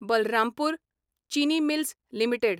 बलरामपूर चिनी mills limited